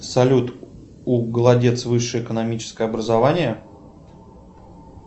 салют у голодец высшее экономическое образование